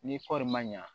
Ni kɔɔri ma ɲa